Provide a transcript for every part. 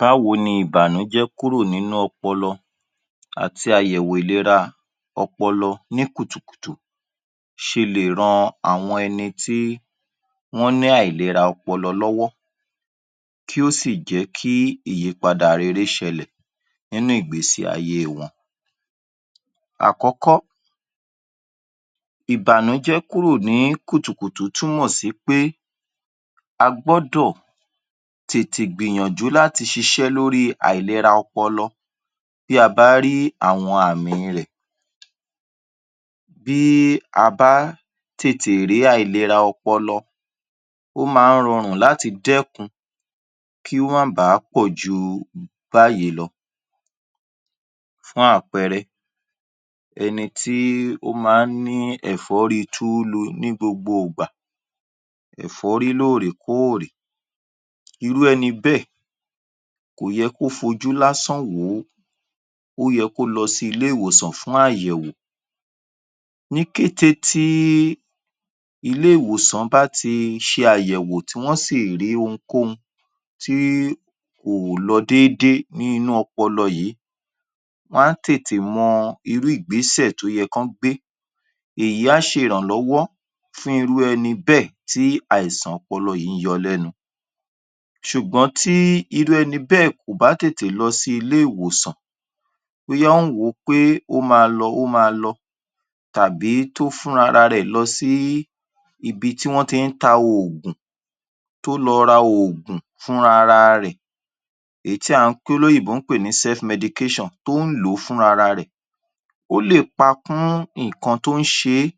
Báwo ni ìbànújẹ́ kúrò nínú ọpọlọ àti àyẹ̀wò ìlera ọpọlọ ní kùtùkùtù ṣe lè ran àwọn ẹnití wọ́n ní àìlera ọpọlọ lọ́wọ́. Kí ó sì jẹ́ kí ìyípadà rere ṣẹlẹ̀, nínú ìgbésí ayé wọn. Àkókò, ìbànújẹ kúrò ní kùtùkùtù tún mọ̀ sí pé a gbọ́dọ̀ tètè gbìyànjú láti ṣiṣẹ́ lóri àìlera ọpọlọ bí a bá rí àwọn àmìn rẹ̀, bí í a bá tètè rí àìlera ọpọlọ ó ma ń rọrùn láti dẹ́kun kí ó má bá pọ̀ju um bayìí lọ. Fún àpẹrẹ, ẹnití ó ma ń ní ẹ̀fọ́rí túlu ní gbogbo ìgbà, ẹ̀fọ́rí lóòrèkóòrè irú ẹni bẹ́ẹ̀ kò yẹ kó fojú lásán wòó, ó yẹ kó lọ sí ilé ìwòsàn fún àyẹ̀wò. Ní kété tí ilé ìwòsàn bá ti ṣe àyẹ̀wò, tí wọ́n sì rí ohunkóhun tí kò lọ dédé ní inú ọpọlọ yìí wọ́n á tètè mọ irú ìgbésẹ̀ tó yẹ kán gbé, èyí á ṣe ìrànlọ́wọ́ fún irú ẹni bẹ́ẹ̀ tí àìsàn ọpọlọ yìí ń yọ lẹ́nu. Ṣùgbọ́n tí irú ẹni bẹ́ẹ̀ kò bá tètè lọ sí ilé ìwòsàn bóyá ó ń wò ó pé ó ma lọ, ó ma lọ tàbí tó fún rárárẹ̀ lọ sí ibi tí wọ́n ti ń ta oògùn, tó lọ ra oògùn fún rárẹ̀ èyí tí à ń pè, tí olóyìnbó ń pè ní self medication tó ń lò ó fún ara rẹ̀, ó lè pa kún nǹkan tó ń ṣe é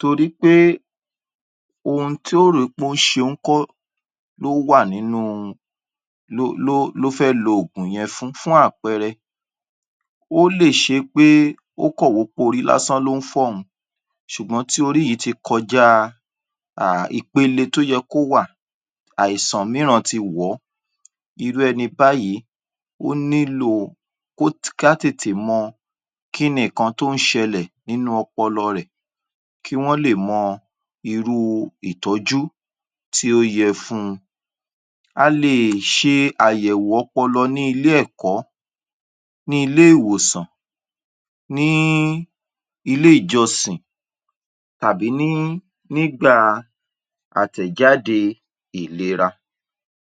torí pé ohun tí ó rò pé óún ṣe ń kọ́, ló wà nínú ló ló ló fẹ́ lo ògùn yẹn fún. Fún àpẹrẹ ó lè ṣe pé ó kàn wò ó pé orí lásán ló ń fọ́ òun sùgbọ́n tí orí yìí ti kọjá a ìpele tó yẹ kó wà àìsàn míràn ti wò ó, irú ẹni báyìí ó ní lò kó ká, ká tètè mọ kíni ǹkan tó ń ṣẹlẹ̀ nínú ọpọlọ rẹ̀, kí wọ́n lè mọ irú ìtọ́jú tí ó yẹ fún-un. A lè ṣe àyẹ̀wò ọpọlọ ní ilé ẹ̀kọ́, ní ilé ìwòsàn ní í, ilé ìjọsìn tàbí ní, ní gbà a àtẹ̀jáde ìlera.